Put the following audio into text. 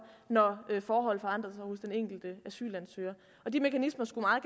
når forhold forandrer sig hos den enkelte asylansøger de mekanismer skulle meget